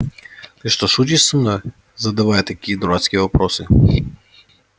ты что шутишь со мной задавая такие дурацкие вопросы